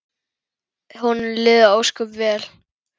Honum liði ósköp vel.